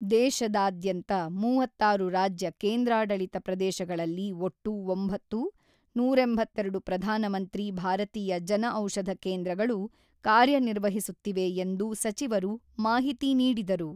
ದೇಶದಾದ್ಯಂತ ಮೂವತ್ತಾರು ರಾಜ್ಯ ಕೇಂದ್ರಾಡಳಿತ ಪ್ರದೇಶಗಳಲ್ಲಿ ಒಟ್ಟು ಒಂಬತ್ತು, ನೂರ ಎಂಬತ್ತೆರಡು ಪ್ರಧಾನ ಮಂತ್ರಿ ಭಾರತೀಯ ಜನಔಷಧ ಕೇಂದ್ರಗಳು ಕಾರ್ಯನಿರ್ವಹಿಸುತ್ತಿವೆ ಎಂದು ಸಚಿವರು ಮಾಹಿತಿ ನೀಡಿದರು.